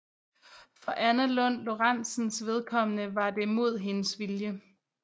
For Anna Lund Lorenzens vedkommende var det mod hendes vilje